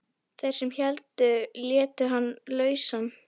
Þeir sem héldu létu hann lausan.